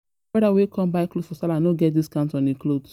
My brother wey come buy cloth for sallah no get discounts on his cloth